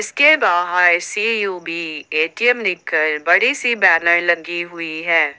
इसके बाहर CUB ATM लिखकर बड़े से बैनर लगी हुई है।